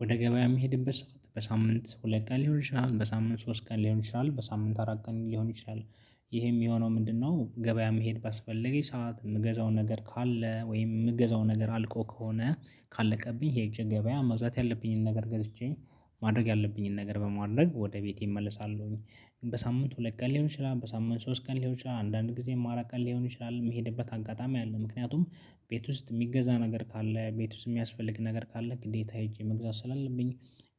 ወደ ገበያ የምሄድበት ሰዓት በሳምንት ሁለት ቀን ይችላል በሳምንት ሶስት ቀን ሊሆን ይችላል በሳምንት አራት ቀን ሊሆን ይችላል። ይሄም የሚሆነው ምንድነው? ገበያ መሄድ ባስፈለገኝ ሰዓት የምገዛው ነገር ካለ ወይም የምገዛው ነገር አልቆ ከሆነ ካለቀብኝ ሄጄ ገበያ መዛት ያለብኝን ነገር ገዝቼ ማድረግ ያለብኝን ነገር በማድረግ ወደ ቤቴ እመልሳለሁኝ። በሳምንት ሁለት ቀን ሊሆን ይችላል በሳምንት ሶስት ቀን ሊሆን ይችላል አንዳንድ ጊዜም አራት ቀን ሊሆን ይችላል የሚሄድበት አጋጣሚ አለ። ምክንያቱም ቤት ውስጥ የሚገዛ ነገር ካለ ቤት ውስጥ የሚያስፈልግ ነገር ካለ ግዴታ ሄጄ መግዛት ስላለብኝ